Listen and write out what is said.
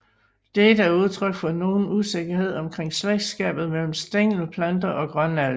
Dette er udtryk for nogen usikkerhed omkring slægtskabet mellem Stængelplanter og Grønalger